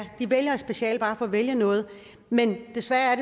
de vælger et speciale bare for at vælge noget men desværre